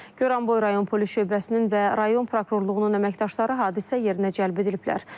Goranboy Rayon Polis Şöbəsinin və rayon prokurorluğunun əməkdaşları hadisə yerinə cəlb ediliblər.